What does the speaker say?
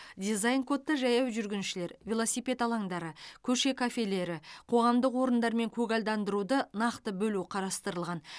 дизайн кодта жаяу жүргіншілер велосипед алаңдары көше кафелері қоғамдық орындар мен көгалдандыруды нақты бөлу қарастырылған